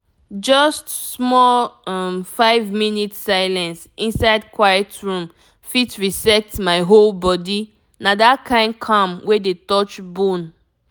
just small um five minute silence inside quiet room fit reset my whole body na that kind calm wey dey touch bone.